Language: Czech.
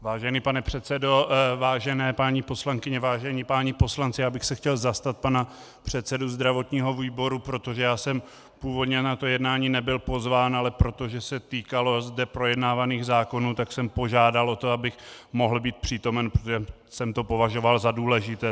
Vážený pane předsedo, vážené paní poslankyně, vážení páni poslanci, já bych se chtěl zastat pana předsedy zdravotního výboru, protože já jsem původně na to jednání nebyl pozván, ale protože se týkalo zde projednávaných zákonů, tak jsem požádal o to, abych mohl být přítomen, protože jsem to považoval za důležité.